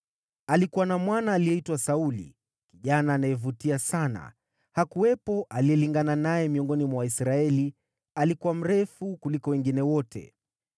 Alikuwa na mwana aliyeitwa Sauli, kijana anayevutia sana, hakuwepo aliyelingana naye miongoni mwa Waisraeli, alikuwa mrefu kuliko wengine wote.